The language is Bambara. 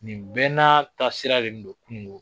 Nin bɛɛ n'aa taa sira de ndo kungo